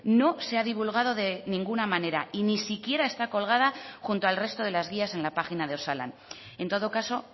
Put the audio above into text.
no se ha divulgado de ninguna manera y ni siquiera está colgada junto al resto de las guías en la página de osalan en todo caso